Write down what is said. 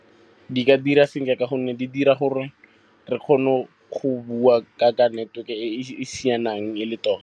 Di ka dira sentle ka gonne di dira gore re kgone go bua ka network-e e e sianang e le tota.